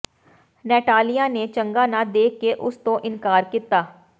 Natalia ਨੇ ਚੰਗਾ ਨਾ ਦੇਖ ਕੇ ਉਸ ਤੋਂ ਇਨਕਾਰ ਕੀਤਾ